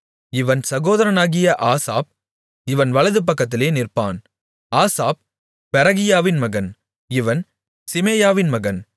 இவன் சகோதரனாகிய ஆசாப் இவன் வலது பக்கத்திலே நிற்பான் ஆசாப் பெரகியாவின் மகன் இவன் சிமேயாவின் மகன்